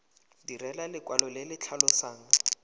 direlwa lekwalo le le tlhalosang